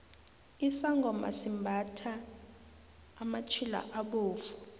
isangoma simbathha amatjhila abovu